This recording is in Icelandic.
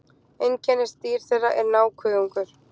Einkennisdýr þeirra er nákuðungur.